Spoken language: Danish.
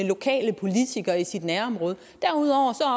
lokale politikere i ens nærområde derudover